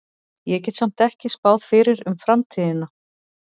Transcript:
Ég get samt ekki spáð fyrir um framtíðina.